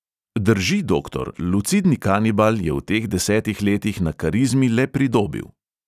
Drži, doktor, lucidni kanibal, je v teh desetih letih na karizmi le pridobil.